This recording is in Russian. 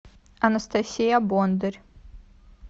анастасия бондарь